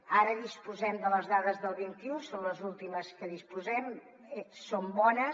ara disposem de les dades del vint un són les últimes de què disposem són bones